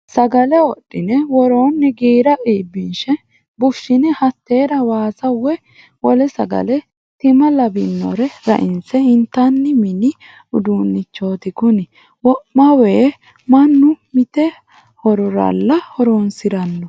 Sagale wodhine woroni giira iibbinshe bushine hatera waasa woyi wole sagale timma labbinore rainse intanni mini uduunchoti kuni wo'mawa mannu mite hororalla horonsirano.